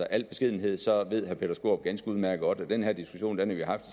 al beskedenhed så ved herre peter skaarup ganske udmærket at den her diskussion har vi haft